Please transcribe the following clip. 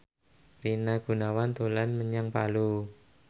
Rina Gunawan dolan menyang Palu